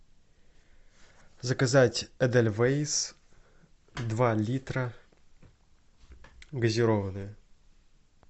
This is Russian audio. заказать эдельвейс два литра газированная